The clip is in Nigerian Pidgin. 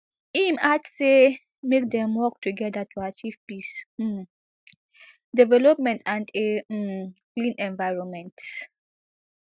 im add say make dem work togeda to achieve peace um development and a um clean environment